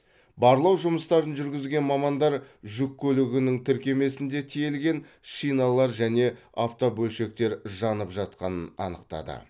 барлау жұмыстарын жүргізген мамандар жүк көлігінің тіркемесінде тиелген шиналар және автобөлшектер жанып жатқанын анықтады